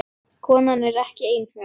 Konan er ekki einhöm.